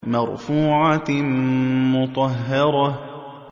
مَّرْفُوعَةٍ مُّطَهَّرَةٍ